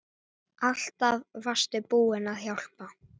Alltaf varstu tilbúin að hjálpa.